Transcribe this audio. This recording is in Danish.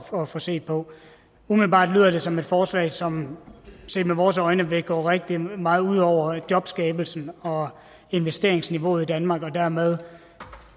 for at få set på umiddelbart lyder det som et forslag som set med vores øjne vil gå rigtig meget ud over jobskabelsen og investeringsniveauet i danmark og dermed